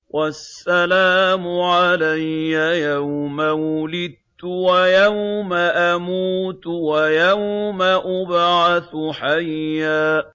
وَالسَّلَامُ عَلَيَّ يَوْمَ وُلِدتُّ وَيَوْمَ أَمُوتُ وَيَوْمَ أُبْعَثُ حَيًّا